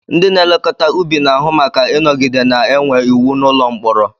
Ndị na-elekọta ubi na-ahụ maka ịnọgide na-enwe iwu n'ụlọ mkpọrọ